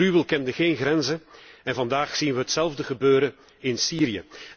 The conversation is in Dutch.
De gruwel kende geen grenzen en vandaag zien wij hetzelfde gebeuren in Syrië.